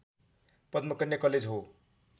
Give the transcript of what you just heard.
Padmakanya college हो